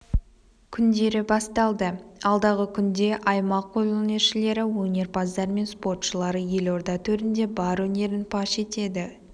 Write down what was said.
күндері басталды алдағы күнде аймақ қолөнершілері өнерпаздар мен спортшылары елорда төрінде бар өнерін паш етеді